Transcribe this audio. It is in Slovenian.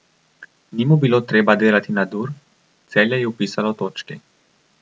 Ni mu bilo treba delati nadur, Celje je vpisalo točki.